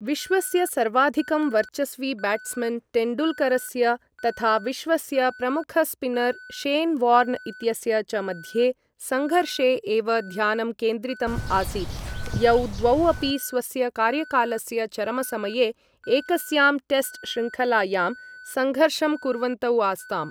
विश्वस्य सर्वाधिकं वर्चस्वी ब्याट्स्मन् तेण्डुलकरस्य तथा विश्वस्य प्रमुख स्पिनर् शेन् वार्न् इत्यस्य च मध्ये सङ्घर्षे एव ध्यानं केन्द्रितम् आसीत्, यौ द्वौ अपि स्वस्य कार्यकालस्य चरमसमये एकस्यां टेस्ट् श्रृङ्खलायां संघर्षं कुर्वन्तौ आस्ताम्।